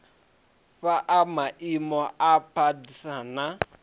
fhaa maimo a pdas na